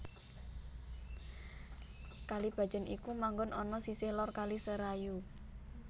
Kalibacin iku manggon ana sisih lor Kali Serayu